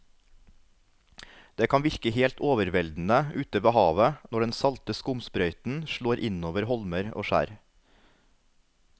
Det kan virke helt overveldende ute ved havet når den salte skumsprøyten slår innover holmer og skjær.